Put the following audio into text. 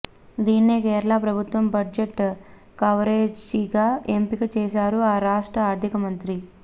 దీన్నే కేరళ ప్రభుత్వ బడ్జెట్ కవర్పేజీగా ఎంపిక చేశారు ఆ రాష్ట్ర ఆర్థికమంత్రి